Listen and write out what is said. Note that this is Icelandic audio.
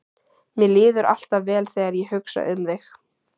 Mér líður alltaf vel þegar ég hugsa um þig.